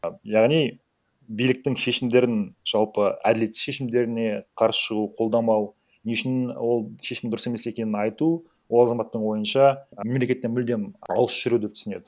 а яғни биліктің шешімдерін жалпы әділетсіз шешімдеріне қарсы шығу қолдамау не үшін ол шешім дұрыс емес екенін айту ол азаматтың ойынша мемлекеттен мүлдем алыс жүру деп түсінеді